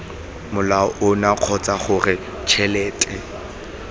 molao ono kgotsa cgore tšhelete